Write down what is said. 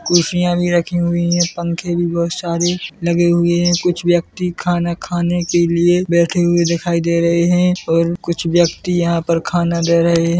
कुर्सियां भी रखी हुई है पंखे भी बहुत सारे लगे हुए है कुछ व्यक्ति खाना खाने के लिए बैठे हुए दिखाई दे रहे है और कुछ व्यक्ति यहां पर खाना दे रहे है।